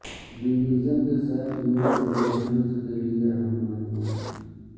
division کے ساتھ unit conversions کے لئے اہم معلومات